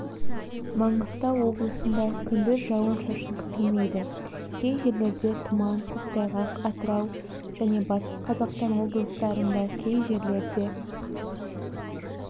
маңғыстау облысында күндіз жауын-шашын күтілмейді кей жерлерде тұман көктайғақ атырау және батыс қазақстан облыстарында кей жерлерде